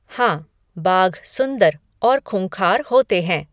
हाँ, बाघ सुंदर और खूँखार होते हैं।